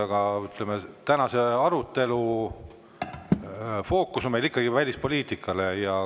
Aga, ütleme, tänase arutelu fookus on meil ikkagi välispoliitikal.